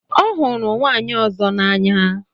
Ọ hụrụ nwaanyị ọzọ n'anya.